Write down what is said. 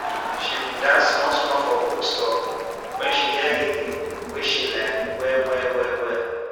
she bin dance small small for bookstore when she hear rhythm wey she like well well well well